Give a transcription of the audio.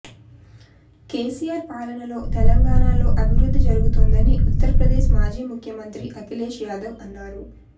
కేసీఆర్ పాలనలో తెలంగాణలో అభివృద్ధి జరుగుతోందని ఉత్తరప్రదేశ్ మాజీ ముఖ్యమంత్రి అఖిలేష్ యాదవ్ అన్నారు